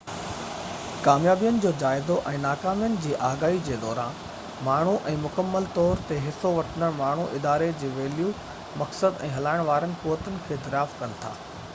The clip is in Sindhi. ڪاميابين جو جائزو ۽ ناڪامين جي آگاهي جي دوران ماڻهو ۽ مڪمل طور تي حصو وٺندڙ ماڻهو اداري جي ويليو مقصد ۽ هلائڻ وارين قوتن کي دريافت ڪن ٿا